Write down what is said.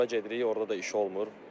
Ora gedirik, orda da iş olmur.